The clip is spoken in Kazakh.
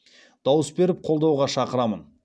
дауыс беріп қолдауға шақырамын